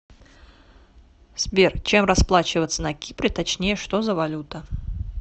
сбер чем расплачиваться на кипре точнее что за валюта